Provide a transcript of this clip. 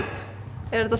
er þetta